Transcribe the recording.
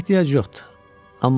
Əslində ehtiyac yoxdur.